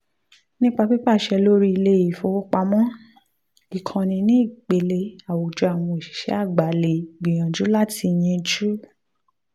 nípa pípàṣẹ lórí ilé-ifowopamọ ìkànnì ní ipele àwùjọ àwọn òṣìṣẹ́ àgbà lè gbìyànjú láti yíjú